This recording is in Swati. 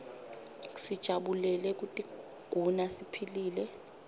sijabulele kutiguna siphilile